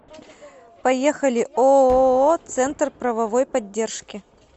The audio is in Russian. поехали ооо центр правовой поддержки